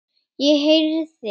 Ég heyrði